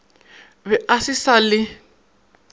be a se sa le